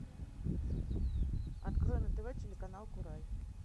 открой на тв телеканал курай